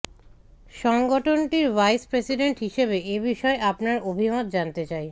সংগঠনটির vice president হিসেবে এ বিষয়ে আপনার অভিমত জানতে চাই